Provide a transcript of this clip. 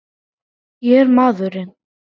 Ég er maðurinn!